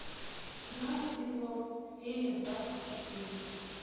гравити фолз серия двадцать четыре